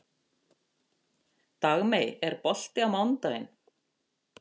Dagmey, er bolti á mánudaginn?